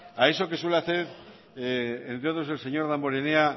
a eso que suele hacer entre otros el señor damborenea